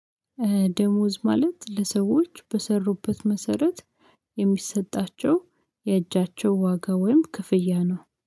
ደሞዝ ማለት ለሰዎች በሰሩበት መሰረት የሚሰጣቸው የእጃቸው ዋጋ ወይም ክፍያ ነው